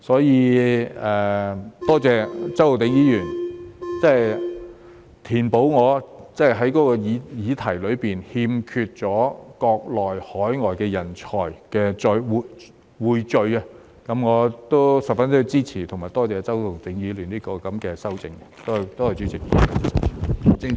因此，多謝周浩鼎議員填補了我的議案中匯聚國內及海外人才的缺口，我十分支持及多謝周浩鼎議員的修正案，多謝主席。